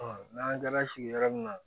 n'an kilala sigiyɔrɔ min na